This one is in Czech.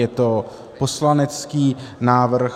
Je to poslanecký návrh.